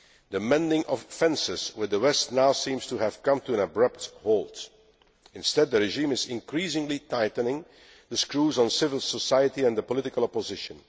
The mending of fences' with the West now seems to have come to an abrupt halt. Instead, the regime is increasingly tightening the screws on civil society and the political opposition.